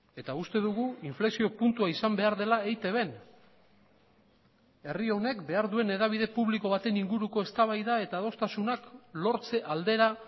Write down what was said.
eta uste dugu inflexio puntua izan behar dela eitbn herri honek behar duen hedabide publiko baten inguruko eztabaida eta adostasunak lortze aldera